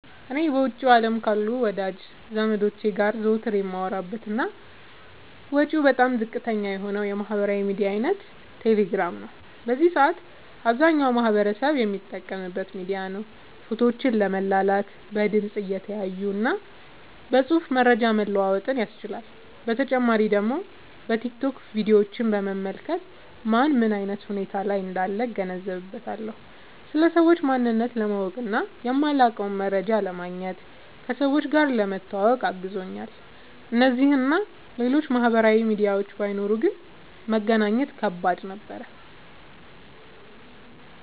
እኔ በውጭው አለም ካሉ ወዳጅ ዘመዶቸ ጋር ዘወትር የማወራበት እና ወጪው በጣም ዝቅተኛ የሆነው የማህበራዊ ሚዲያ አይነት ቴሌግራም ነው። በዚህ ሰአት አብዛኛው ማህበረሰብ የሚጠቀምበት ሚዲያ ነው። ፎቶዎችን ለመላላክ፣ በድምፅ(እየተያዩ) እና በፅሁፍ መረጃ መለዋወጥ ይቻላል። በተጨማሪ ደግሞ በቲክቶክ ቪዲዮችን በመመልከት ማን ምን አይነት ሁኔታ ላይ እንዳለ እገነዘብበታለሁ። ስለ ሰዎች ማንነት ለማወቅ እና የማላውቀውን መረጃ ለማግኘት፣ ከሰዎች ጋር ለመተዋወቅ አግዞኛል። እነዚህ እና ሌሎችም ማህበራዊ ሚዲያዎች ባይኖሩ ግን መገናኘት ከባድ ነበር።